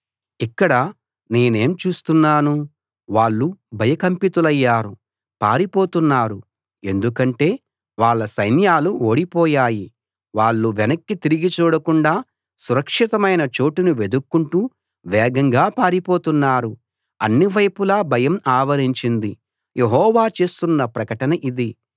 ఇక్కడ నేనేం చూస్తున్నాను వాళ్ళు భయకంపితులయ్యారు పారిపోతున్నారు ఎందుకంటే వాళ్ళ సైన్యాలు ఓడిపోయాయి వాళ్ళు వెనక్కి తిరిగి చూడకుండా సురక్షితమైన చోటును వెదుక్కుంటూ వేగంగా పారిపోతున్నారు అన్నివేపులా భయం ఆవరించింది యెహోవా చేస్తున్న ప్రకటన ఇది